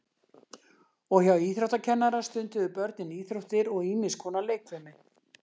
Og hjá íþróttakennara stunduðu börnin íþróttir og ýmis konar leikfimi.